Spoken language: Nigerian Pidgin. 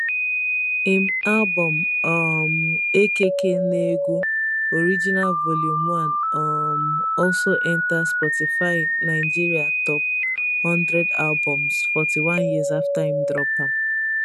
im album um akk negwu original vol 1 um also enta spotify nigeria top one hundred albums 41 years after im drop am